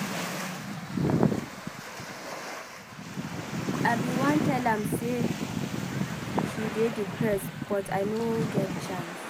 I bin wan tell am say she dey depressed but I no get chance.